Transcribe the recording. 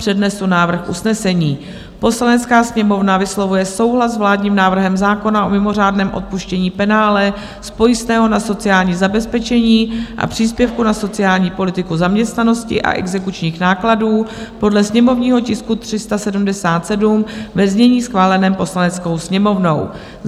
Přednesu návrh usnesení: "Poslanecká sněmovna vyslovuje souhlas s vládním návrhem zákona o mimořádném odpuštění penále z pojistného na sociální zabezpečení a příspěvku na sociální politiku zaměstnanosti a exekučních nákladů podle sněmovního tisku 377, ve znění schváleném Poslaneckou sněmovnou."